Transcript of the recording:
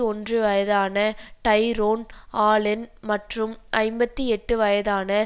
ஒன்று வயதான Tyrone Allen மற்றும் ஐம்பத்தி எட்டு வயதான